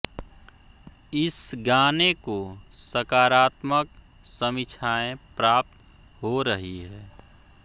इस गाने को सकारात्मक समीक्षाएं प्राप्त हो रही है